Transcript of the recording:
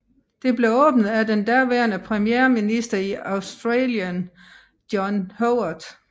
Det blev åbnet af den daværende premierminister i Australigen John Howard